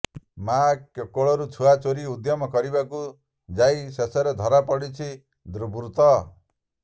ମା କୋଳରୁ ଛୁଆ ଚୋରି ଉଦ୍ୟମ କରିବାକୁ ଯାଇ ଶେଷରେ ଧରାପଡିଛି ଦୁର୍ବୃତ୍ତ